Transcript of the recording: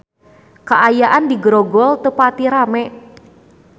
Kaayaan di Grogol teu pati rame